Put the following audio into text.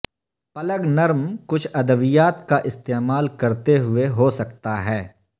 plug نرم کچھ ادویات کا استعمال کرتے ہوئے ہو سکتا ہے